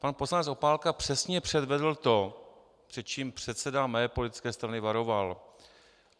Pan poslanec Opálka přesně předvedl to, před čím předseda mé politické strany varoval.